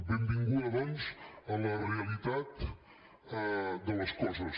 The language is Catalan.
benvinguda doncs a la realitat de les coses